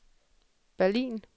Berlin